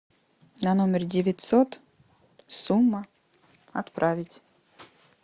на номер девятьсот сумма отправить